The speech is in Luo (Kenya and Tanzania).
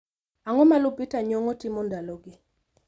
Ang'o ma lupita ngongo timo ndalogi